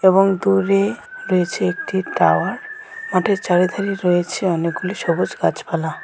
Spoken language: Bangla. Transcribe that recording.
এবং দূরে রয়েছে একটি টাওয়ার মাঠের চারিধারে রয়েছে অনেকগুলি সবুজ গাছপালা।